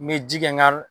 N bɛ ji kɛ n ka